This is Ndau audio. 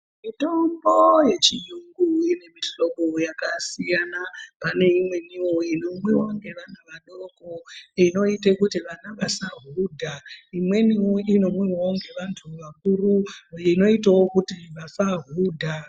Mitombo yechiyungu ine mihlobo yakasiyana. Pane imweniwo inomwiwa ngevana vadoko, inoite kuti vana vasahudha. Imweniwo inomwiwawo ngevanthu anhu akuru, inoitawo kuti vasahudha.